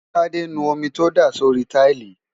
tádé nu omi tó dà sórí táìlì